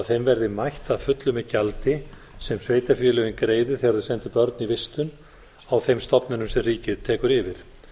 þeim verði mætt að fullu með gjaldi sem sveitarfélögin greiði þegar þau senda börn í vistun á þeim stofnunum sem ríkið tekur yfir er